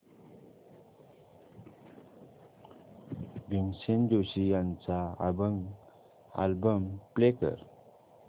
भीमसेन जोशी यांचा अभंग album play कर